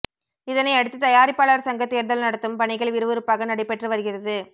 இதனை அடுத்து தயாரிப்பாளர் சங்க தேர்தல் நடத்தும் பணிகள் விறுவிறுப்பாக நடைபெற்று வருகிறது